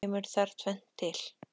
Kemur þar tvennt til.